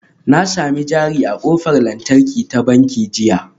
Na sami jari a ƙofar lantarki ta banki jiya